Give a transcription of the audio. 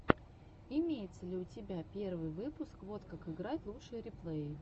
имеется ли у тебя первый выпуск вот как играть лучшие реплеи